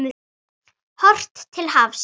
Horft til hafs.